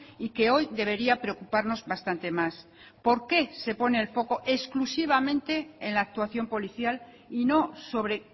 y que hoy debería preocuparnos bastante más por qué se pone el foco exclusivamente en la actuación policial y no sobre